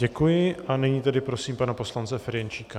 Děkuji a nyní tedy prosím pana poslance Ferjenčíka.